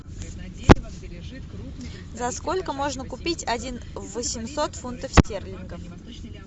за сколько можно купить один восемьсот фунтов стерлингов